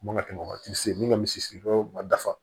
A man kan ka tɛmɛ o kan tisi min ka misiri ma dafa